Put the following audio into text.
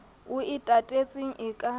o e tatetseng e ka